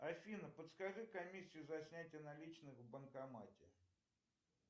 афина подскажи комиссию за снятие наличных в банкомате